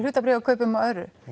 hlutabréfum og öðru